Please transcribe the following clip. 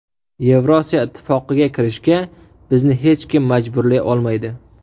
Yevrosiyo ittifoqiga kirishga bizni hech kim majburlay olmaydi.